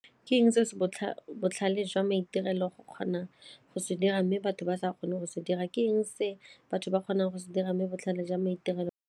Ke eng se se botlhale jwa maitirelo go kgona go se dira mme batho ba sa kgone go se dira, ke eng se batho ba kgonang go se dira mme botlhale jwa maitirelo?